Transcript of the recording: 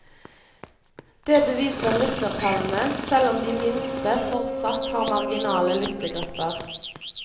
Det beviser lyttertallene, selv om de minste fortsatt har marginale lyttegrupper.